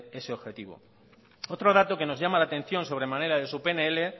ese objetivo otro dato que nos llama la atención sobremanera de su pnl